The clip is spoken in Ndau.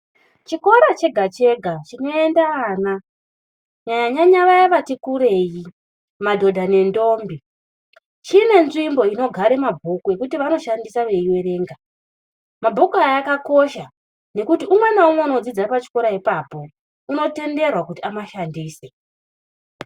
Chikora chega-chega, chinoenda ana kunyanya-nyanya vaya vati kurei, madhodha nendombi, chine nzvimbo inogare mabhuku ekuti vanoshandisa veierenga. Mabhuku aya akakosha, nekuti umwe naumwe unodzidza pachikoro ipapo, unotenderwa kuti amashandise.